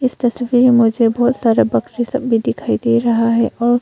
तस्वीर में मुझे बहोत सारा बकरी सब भी दिखाई दे रहा है और--